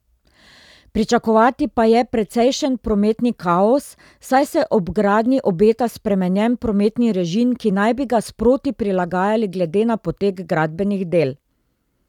Pričakovati pa je precejšen prometni kaos, saj se ob gradnji obeta spremenjen prometni režim, ki naj bi ga sproti prilagajali glede na potek gradbenih del.